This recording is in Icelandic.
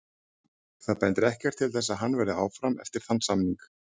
Það bendir ekkert til þess að hann verði áfram eftir þann samning.